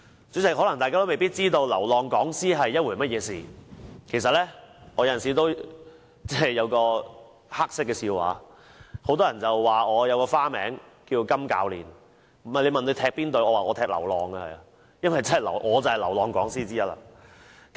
主席，可能大家未必知道流浪講師是甚麼一回事，其實有時候我也有一個黑色笑話，很多人說我有一個花名叫"金教練"，問我屬甚麼隊伍，我說我是流浪隊，因為我就是流浪講師之一。